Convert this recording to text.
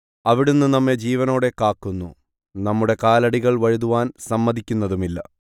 അവിടുന്ന് നമ്മെ ജീവനോടെ കാക്കുന്നു നമ്മുടെ കാലടികൾ വഴുതുവാൻ സമ്മതിക്കുന്നതുമില്ല